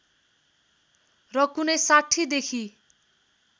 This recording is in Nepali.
र कुनै ६० देखि